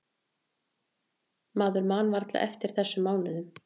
Maður man varla eftir þessum mánuðum.